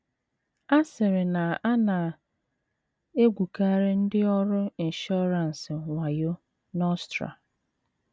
A sịrị na a na - egwukarị ndị ọrụ inshọransị wayo n’Austria.